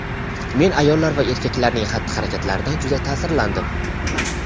Men ayollar va erkaklarning xatti-harakatlaridan juda ta’sirlandim.